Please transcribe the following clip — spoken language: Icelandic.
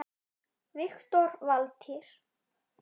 Doktor Valtýr